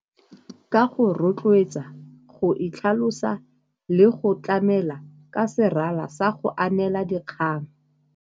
Ka go rotloetsa, go itlhalosa le go tlamela ka serala sa go anela dikgang.